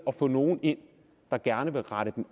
at få nogle ind der gerne vil rette dem